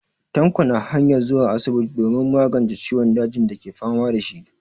Tanko na hanyar zuwa asibiti domin magance ciwon dajin dake fama da shi.